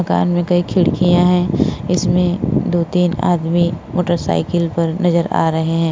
मकान में कई खिड़कियां है। इसमें दो-तीन आदमी मोटरसाइकिल पर नजर आ रहे हैं।